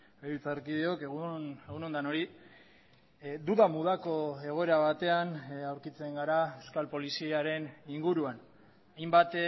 legebiltzarkideok egun on denoi duda mudako egoera batean aurkitzen gara euskal poliziaren inguruan hainbat